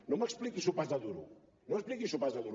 no m’expliqui sopars de duro no m’expliqui sopars de duro